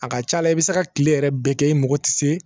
A ka ca la i bɛ se ka kile yɛrɛ bɛɛ kɛ i mago tɛ se